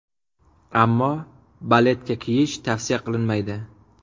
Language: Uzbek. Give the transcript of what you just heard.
Ammo baletka kiyish tavsiya qilinmaydi.